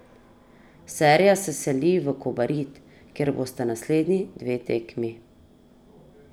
Serija se seli v Kobarid, kjer bosta naslednji dve tekmi.